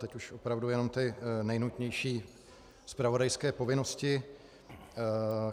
Teď už opravdu jenom ty nejnutnější zpravodajské povinnosti.